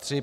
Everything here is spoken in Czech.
III.